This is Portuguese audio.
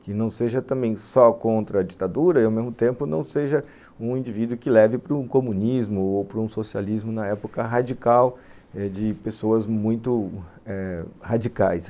Que não seja também só contra a ditadura e, ao mesmo tempo, não seja um indivíduo que leve para o comunismo ou para o socialismo na época radical eh, de pessoas muito radicais.